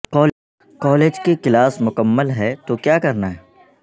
college کی class مکمل ہے تو کیا کرنا ہے